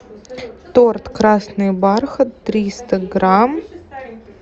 торт красный бархат триста грамм